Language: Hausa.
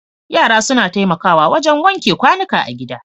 Yara suna taimakawa wajen wanke kwanuka a gida.